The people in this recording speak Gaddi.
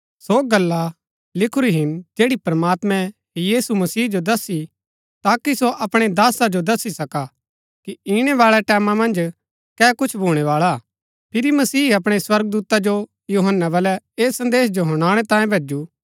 ऐसा कताबा मन्ज सो गल्ला लिखुरी हिन जैड़ी प्रमात्मैं यीशु मसीह जो दसी ताकि सो अपणै दासा जो दसी सका कि इणै बाळै टैमां मन्ज कै कुछ भूणै बाळा हा फिरी मसीह अपणै स्वर्गदूता जो यूहन्‍ना बलै ऐस संदेश जो हुनाणै तांये भैजु